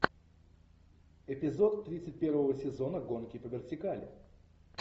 эпизод тридцать первого сезона гонки по вертикали